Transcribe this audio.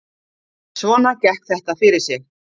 Svona gekk þetta fyrir sig